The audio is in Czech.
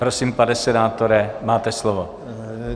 Prosím, pane senátore, máte slovo.